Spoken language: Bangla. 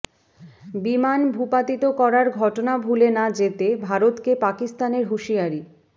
বিমান ভূপাতিত করার ঘটনা ভুলে না যেতে ভারতকে পাকিস্তানের হুঁশিয়ারি